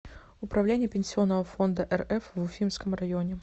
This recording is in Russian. управление пенсионного фонда рф в уфимском районе